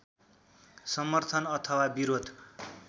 समर्थन अथवा विरोध